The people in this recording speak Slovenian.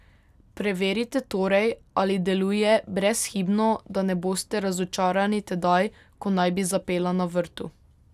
Preverite torej, ali deluje brezhibno, da ne boste razočarani tedaj, ko naj bi zapela na vrtu.